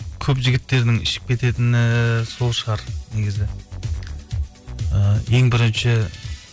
көп жігіттердің ішіп кететіні сол шығар негізі і ең бірінші